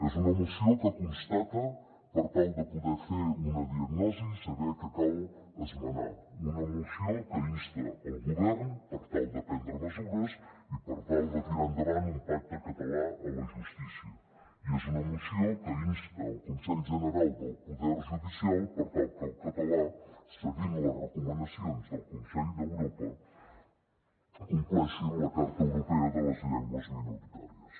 és una moció que constata per tal de poder fer una diagnosi i saber què cal esmenar una moció que insta el govern per tal de prendre mesures i per tal de tirar endavant un pacte català a la justícia i és una moció que insta el consell general del poder judicial per tal que el català seguint les recomanacions del consell d’europa compleixi amb la carta europea de les llengües minoritàries